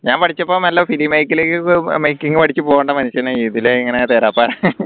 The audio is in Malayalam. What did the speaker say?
ഞാൻ പഠിച്ചപ്പോ നല്ല film make making പഠിച് പോണ്ട മനുഷ്യനാ ഇതിലെ ഇങ്ങനെ തേരാപ്പാര